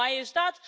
And why is that?